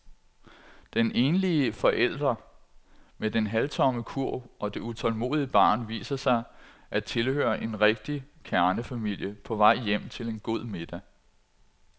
Den enlige forælder med den halvtomme kurv og det utålmodige barn viser sig at tilhøre en rigtig kernefamilie på vej hjem til en god middag.